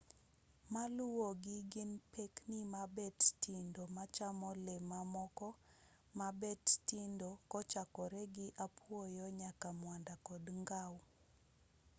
maluwogi gin pekni mabet tindo machamo le mamoko ma bet tindo kochakore gi apuoyo nyaka mwanda kod ngau